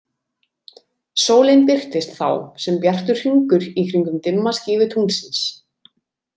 Sólin birtist þá sem bjartur hringur í kringum dimma skífu tunglsins.